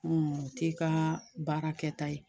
o t'i ka baara kɛta ye.